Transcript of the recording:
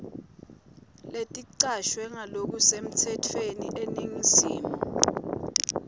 leticashwe ngalokusemtsetfweni eningizimu